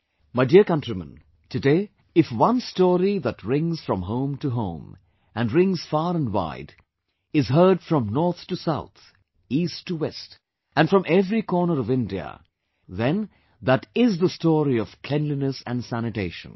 My dear countrymen, today, if one story that rings from home to home, and rings far and wide, is heard from north to south, east to west and from every corner of India, then that IS the story of cleanliness and sanitation